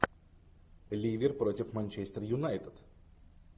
ливер против манчестер юнайтед